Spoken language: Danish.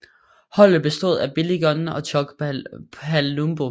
Holdet bestod af Billy Gunn og Chuck Palumbo